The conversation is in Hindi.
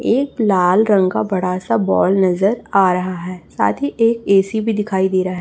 एक लाल रंग का बड़ा सा बॉल नजर आ रहा है साथी एक ए_सी भी दिखाई दे रहा--